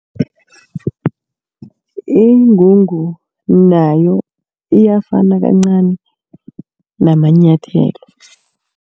Ingungu nayo iyafana kancani namanyathelo.